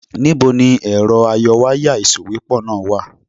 Níbo ni ẹ̀rọ ayọwáyà ìsòwépọ̀ náà wà?